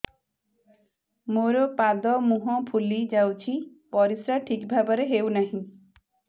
ମୋର ପାଦ ମୁହଁ ଫୁଲି ଯାଉଛି ପରିସ୍ରା ଠିକ୍ ଭାବରେ ହେଉନାହିଁ